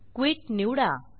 quit निवडा